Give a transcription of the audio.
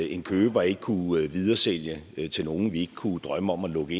en køber ikke kunne videresælge til nogen vi ikke kunne drømme om at lukke